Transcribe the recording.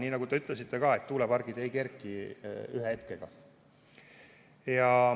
Nii nagu te ka ütlesite, tuulepargid ei kerki ühe hetkega.